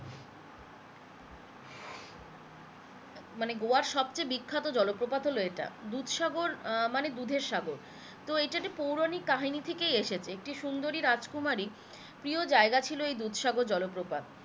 মানে গোয়ার সবচেয়ে বিখ্যাত জলপ্রপাত হলো এটা, দুধসাগর আহ মানে দুধের সাগরী, তো এটি একটি পৌরাণিক কাহিনী থেকেই এসেছে একটি সুন্দরী রাজকুমারী প্রিয় জায়গা ছিলো এই দুধসাগর জলপ্রপাত